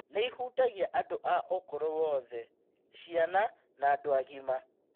Nĩ ĩhutagia andũ a ũkũrũ wothe, ciana na andũ agima.